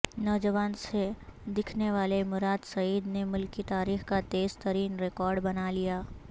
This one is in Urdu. نوجوان سے دکھنے والے مراد سعید نے ملکی تاریخ کا تیز ترین ریکارڈ بنا لیا